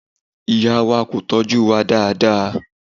Ìyá wa kò tọ́jú wa dáadáa.